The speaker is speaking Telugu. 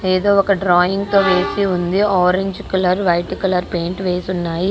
ఏదో ఒక డ్రాయింగ్ తో వేసి ఉంది. Orange colour white colour paint వేసి ఉన్నాయి.